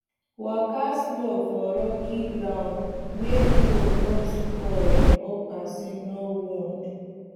waka slow for rocky ground make plow no spoil or person no wound